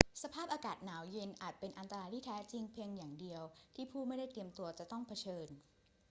สภาพอากาศหนาวเย็นอาจเป็นอันตรายที่แท้จริงเพียงอย่างเดียวที่ผู้ไม่ได้เตรียมตัวจะต้องเผชิญ